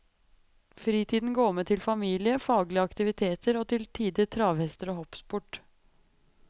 Fritiden går med til familie, faglige aktiviteter og til tider travhester og hoppsport.